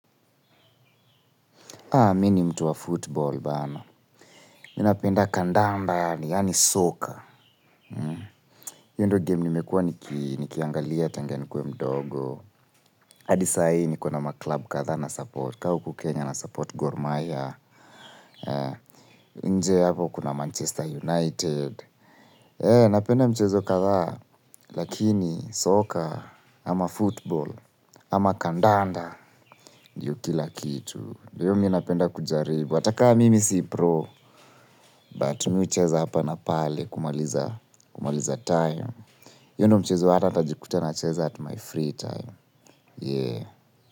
Haa, mini mtu wa football bana. Mi napenda kandanda, yani soccer. Hiyo ndo game nimekua nikiangalia tengu nikuwe mdogo. Hadi sai niko na maklub kadhaa na support. Ka huku kenya na support gormaiya. Nje hapo kuna Manchester United. Eh, napenda mchezo kadha. Lakini, soccer, ama football, ama kandanda, ndio kila kitu. Dio mi napenda kujaribu. Hata kaa mimi si pro, but mi ucheza hapa na pale kumaliza time. Hiyo ndo mchezo hata ntajikuta nacheza at my free time. Yeah.